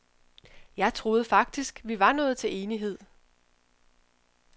Jeg troede faktisk, vi var nået til enighed.